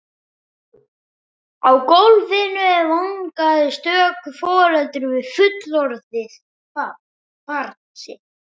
Á gólfinu vangaði stöku foreldri við fullorðið barn sitt.